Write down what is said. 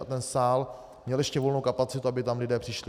A ten sál měl ještě volnou kapacitu, aby tam lidé přišli.